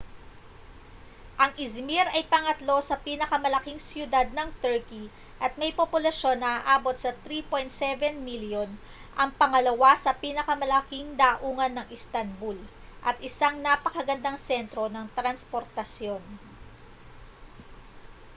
ang izmir ay pangatlo sa pinakamalaking syudad ng turkey at may populasyon na aabot sa 3.7 milyon ang pangalawa sa pinakamalaking daungan ng istanbul at isang napakagandang sentro ng transportasyon